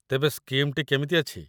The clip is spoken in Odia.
ତେବେ ସ୍କିମ୍‌ଟି କେମିତି ଅଛି ?